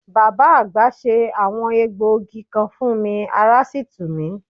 Bàbá àgbà se àwọn egbògi kan fún mi, ará sì tù mí.